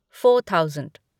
four thousand